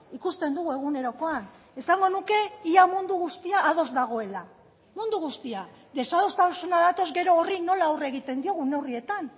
ikusten dugu egunerokoan esango nuke ia mundu guztia ados dagoela mundu guztia desadostasuna datoz gero horri nola aurre egiten diogun neurrietan